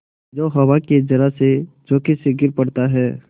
जो हवा के जरासे झोंके से गिर पड़ता है